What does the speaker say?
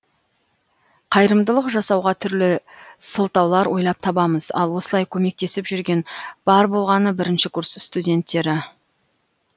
қайырымдылық жасауға түрлі сылтаулар ойлап табамыз ал осылай көместесіп жүрген бар болғаны бірінші курс студенттері